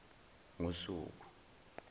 ngosuku